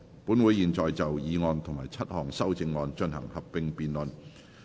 本會現在就議案及7項修正案進行合併辯論。